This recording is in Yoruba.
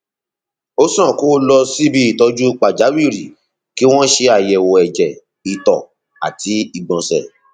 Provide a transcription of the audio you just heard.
ó sàn kó o lọ síbi ìtọjú pàjáwìrì kí wọn ṣe àyẹwò ẹjẹ ìtọ àti ìgbọnsẹ